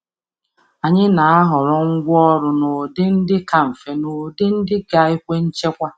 Anyị na-ahọrọ ngwa anyị dabere n’ụdị dị mfe iji sachaa ma debe.